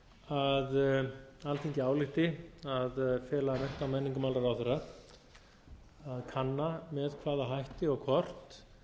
að alþingi álykti að fela mennta og menningarmálaráðherra að kanna með hvaða hætti og hvort